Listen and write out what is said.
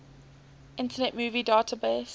internet movie database